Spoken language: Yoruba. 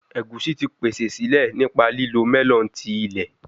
Egusi ti pese sile nipa lilo melon ti ilẹ